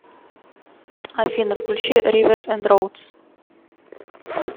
афина включи риверс энд роудс